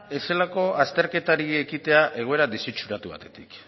ezelako azterketari ekitea egoera desitxuratu batetik